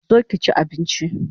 Zo ki chi abinchi